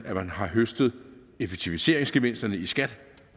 at man har høstet effektiviseringsgevinsterne i skat